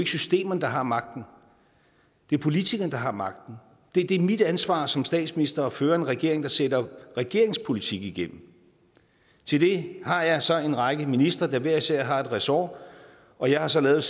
systemerne der har magten det er politikerne der har magten det det er mit ansvar som statsminister at føre en regering der sætter regeringens politik igennem til det har jeg så en række ministre der hver især har et ressort og jeg har så lavet